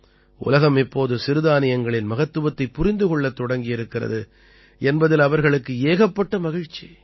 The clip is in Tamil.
உலகம் இப்போது சிறுதானியங்களின் மகத்துவத்தைப் புரிந்து கொள்ளத் தொடங்கி இருக்கிறது என்பதில் அவர்களுக்கு ஏகப்பட்ட மகிழ்ச்சி